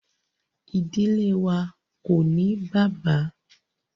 Ìdílé wá ko ní bàbá.